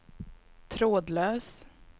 trådlös